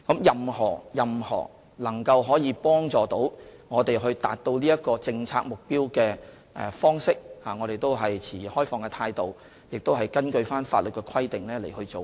任何能夠幫助我們達到政策目標的方式，我們都持開放的態度，亦會根據法律的規定來做。